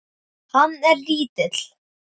Hann er lítill.